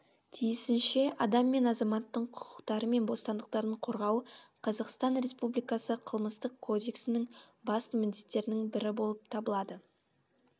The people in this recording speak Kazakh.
тиісінше адам мен азаматтың құқықтары мен бостандықтарын қорғау қазақстан республикасы қылмыстық кодексінің басты міндеттерінің бірі болып табылады